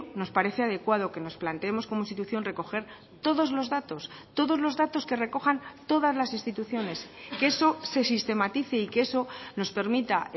nos parece adecuado que nos planteemos como institución recoger todos los datos todos los datos que recojan todas las instituciones que eso se sistematice y que eso nos permita